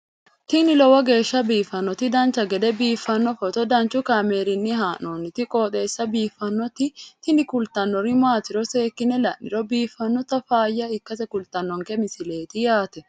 tini lowo geeshsha biiffannoti dancha gede biiffanno footo danchu kaameerinni haa'noonniti qooxeessa biiffannoti tini kultannori maatiro seekkine la'niro biiffannota faayya ikkase kultannoke misileeti yaate